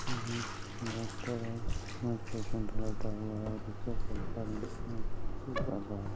हम्म doctor है पास में पेशेंट लेटा हुआ है ठीक कर रहा है।